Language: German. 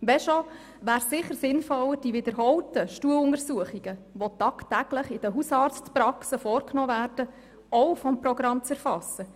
Wenn schon, wäre es sicher sinnvoller, die wiederholten Stuhluntersuchungen, die tagtäglich in den Hausarztpraxen vorgenommen werden auch vom Programm zu erfassen.